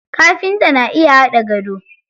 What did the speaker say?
Kafinta na iya haɗa gado.